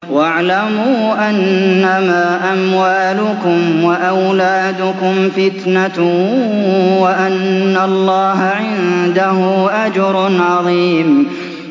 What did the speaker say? وَاعْلَمُوا أَنَّمَا أَمْوَالُكُمْ وَأَوْلَادُكُمْ فِتْنَةٌ وَأَنَّ اللَّهَ عِندَهُ أَجْرٌ عَظِيمٌ